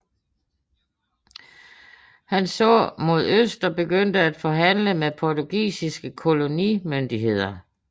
Han så mod øst og begyndte at forhandle med portugisiske kolonimyndigheder